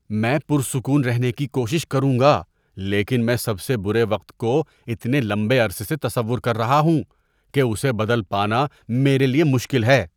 میں پرسکون رہنے کی کوشش کروں گا لیکن میں سب سے برے وقت کو اتنے لمبے عرصے سے تصور کر رہا ہوں کہ اسے بدل پانا میرے لیے مشکل ہے۔